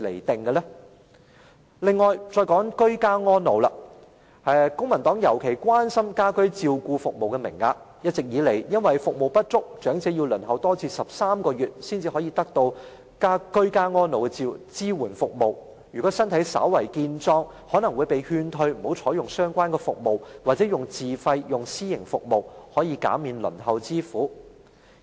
此外，我想再談居家安老，公民黨特別關心家居照顧服務的名額，一直以來由於服務不足，長者需要輪候13個月才可得到居家安老的支援服務，如果身體稍為健壯的，更可能會被勸退不要採用相關服務，或改為自費使用私營服務，減免輪候之苦。